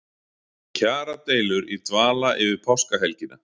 Kjaradeilur í dvala yfir páskahelgina